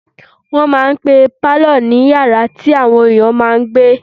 Wọ́n máà ń pe pálọ̀ ní yàrá tí àwọn èèyàn máa n gbé